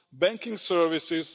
banking services